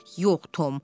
Yox, Tom.